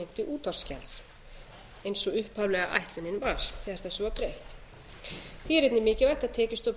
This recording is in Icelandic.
útvarpsgjalds eins og upphaflega ætlunin var þegar þessu var breytt því er einnig mikilvægt að tekjustofn